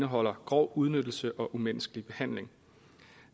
indeholder grov udnyttelse og umenneskelig behandling